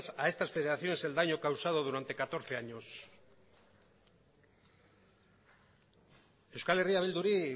a estas federaciones el daño causado durante catorce años euskal herria bilduri